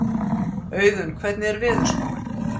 Auðunn, hvernig er veðurspáin?